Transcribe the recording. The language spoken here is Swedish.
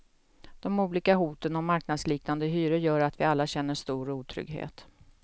De olika hoten om marknadsliknande hyror gör att vi alla känner stor otrygghet.